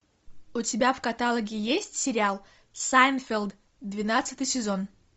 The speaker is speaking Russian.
у тебя в каталоге есть сериал сайнфелд двенадцатый сезон